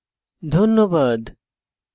ধন্যবাদ